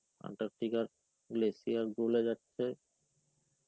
Antarctica র glacier গোলে যাচ্ছে.